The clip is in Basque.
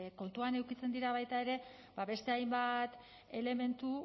kontuan edukitzen dira baita ere beste hainbat elementu